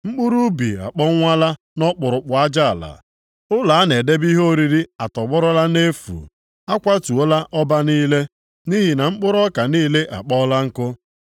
Mkpụrụ ubi akpọnwụọla nʼọkpụrụkpụ aja ala. Ụlọ a na-edebe ihe oriri atọgbọrọla nʼefu, a kwatuola ọba niile, nʼihi na mkpụrụ ọka niile akpọọla nku.